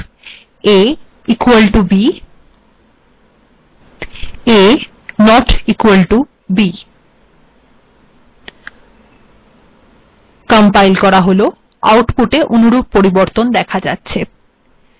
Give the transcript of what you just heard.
a equal to b a not equal to b দেখুন আউটপুটে দেখা যাচ্ছে a এবং b অসমান